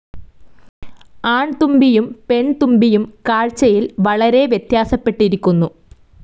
ആൺതുമ്പിയും പെൺതുമ്പിയും കാഴ്ച്ചയിൽ വളരെ വ്യത്യാസപ്പെട്ടിരിക്കുന്നു.